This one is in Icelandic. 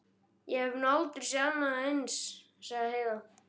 Ég hef nú aldrei séð annað eins, sagði Heiða.